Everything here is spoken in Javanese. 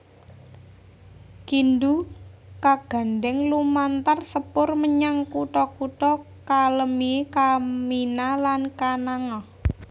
Kindu kagandhèng lumantar sepur menyang kutha kutha Kalemie Kamina lan Kananga